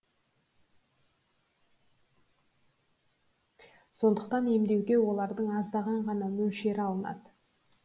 сондықтан емдеуге олардың аздаған ғана мөлшері алынады